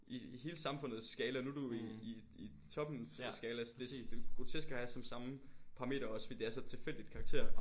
I i hele samfundets skala nu du i i i toppen af skala så det er jo grotesk at have som samme parameter også fordi det er så tilfældigt karakter